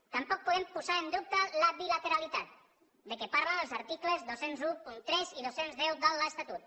tampoc podem posar en dubte la bilateralitat de què parlen els articles dos mil tretze i dos cents i deu de l’estatut